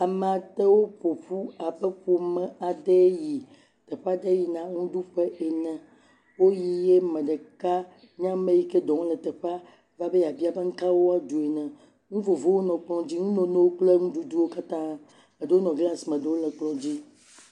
Ame aɖewo ƒoƒu abe ƒome aɖee yi teƒe aɖee yina nuɖuƒe ene. Woyi ye ame ɖeka yi nye meti ke le dɔwɔm le teƒe va be yeabiawo be nu ka ɖu ge woala, nu vovovowo le teƒe, nu memewo kple nuɖuɖuwo katã eɖewo nɔ glasi me eɖewo le kplɔ dzi.